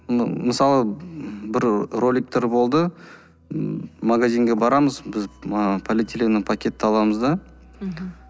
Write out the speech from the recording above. мысалы бір роликтар болды м магазинға барамыз біз ы полиэтиленовый пакетті аламыз да мхм